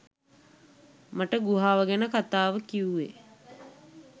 මට ගුහාව ගැන කතාව කිව්වේ